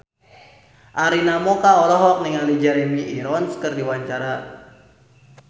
Arina Mocca olohok ningali Jeremy Irons keur diwawancara